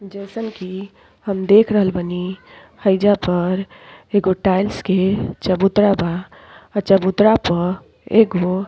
जइसन की हम देख रहल बानी हेइजा पर एगो टाइल्स के चबूतरा बा और चबुतर पर एगो --